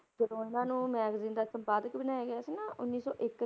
ਜਦੋਂ ਇਹਨਾਂ ਨੂੰ magazine ਦਾ ਸੰਪਾਦਕ ਬਣਾਇਆ ਗਿਆ ਸੀ ਨਾ ਉੱਨੀ ਸੌ ਇੱਕ